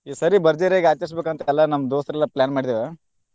ಈ ಸರಿ ಬರ್ಜರಿಯಾಗಿ ಆಚರ್ಸಬೇಕಂತ ಎಲ್ಲಾ ನಮ್ಮ ದೋಸ್ತ್ರ ಎಲ್ಲಾ plan ಮಾಡಿದೇವ.